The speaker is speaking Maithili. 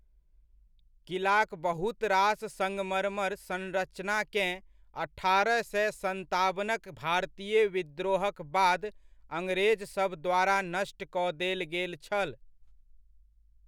किलाक बहुत रास सङ्गमरमर संरचनाकेँ अठारह सए सताबनक भारतीय विद्रोहक बाद अंग्रेजसभ द्वारा नष्ट कऽ देल गेल छल।